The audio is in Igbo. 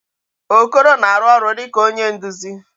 Okoro na-arụ ọrụ dịka onye nduzi.